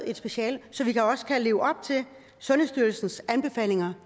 et speciale så vi også kan leve op til sundhedsstyrelsens anbefalinger